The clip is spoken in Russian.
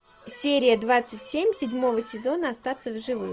серия двадцать семь седьмого сезона остаться в живых